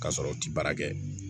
K'a sɔrɔ u ti baara kɛ